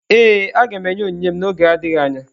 Ee, aga m enye onyinye m n’oge adịghị anya.